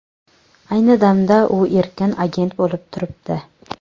Ayni damda u erkin agent bo‘lib turibdi.